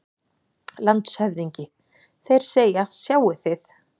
LANDSHÖFÐINGI: Þeir segja: Sjáið þið!